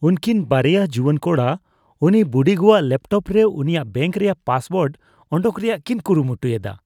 ᱩᱝᱠᱤᱱ ᱵᱟᱨᱮᱭᱟ ᱡᱩᱣᱟᱹᱱ ᱠᱚᱲᱟ ᱩᱱᱤ ᱵᱩᱰᱤᱜᱚᱣᱟᱜ ᱞᱮᱯᱴᱚᱯ ᱨᱮ ᱩᱱᱤᱭᱟᱜ ᱵᱮᱝᱠ ᱨᱮᱭᱟᱜ ᱯᱟᱥᱳᱣᱟᱨᱰ ᱚᱰᱚᱠ ᱨᱮᱭᱟᱜ ᱠᱤᱱ ᱠᱩᱨᱩᱢᱩᱴᱩᱭᱮᱫᱟ ᱾